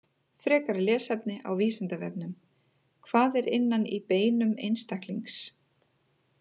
Frekara lesefni á Vísindavefnum: Hvað er innan í beinum einstaklings?